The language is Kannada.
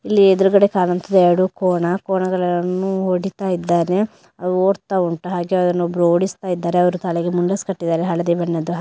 ಇಲ್ಲಿ ಎದುರ್ಗಡೆ ಕಾಣುತ್ತಿದೆ ಎರಡು ಕೋಣ ಕೋಣಗಳನ್ನು ಹೊಡೀತ ಇದ್ದಾನೆ ಅವು ಹೊಡ್ತಾ ವುಂಟು ಹಾಗೆ ಅದುನ್ ಒಬ್ಬ್ರು ಹೊಡಿಸ್ತಾಯಿದ್ದಾರೆ. ಅವ್ರು ತಲೆಗೆ ಮುಂಡಾಸ್ ಕಟ್ಟಿದ್ದಾರೆ ಹಳದಿ ಬಣ್ಣದ್ದು ಹಾಗೆ --